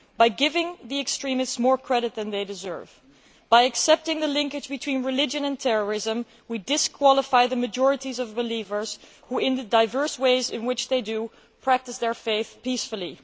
By giving the extremists more credit than they deserve, by accepting the link between religion and terrorism, we disqualify the majority of believers who, in the diverse ways in which they do, practice their faith peacefully.